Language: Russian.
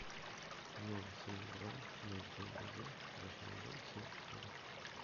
ноль семь два ноль семь один восемь два семь четыре